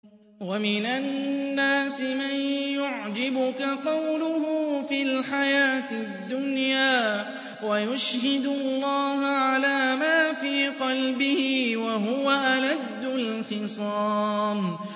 وَمِنَ النَّاسِ مَن يُعْجِبُكَ قَوْلُهُ فِي الْحَيَاةِ الدُّنْيَا وَيُشْهِدُ اللَّهَ عَلَىٰ مَا فِي قَلْبِهِ وَهُوَ أَلَدُّ الْخِصَامِ